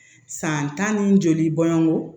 San tan ni joli bɔnko